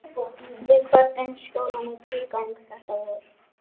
Við kvöddum skólann í tvígang þetta vor.